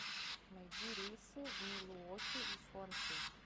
найди рейсы в милуоки из хуанши